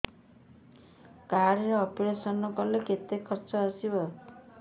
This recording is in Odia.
କାର୍ଡ ରେ ଅପେରସନ କଲେ କେତେ ଖର୍ଚ ଆସିବ